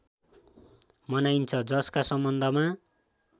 मनाइन्छ जसका सम्बन्धमा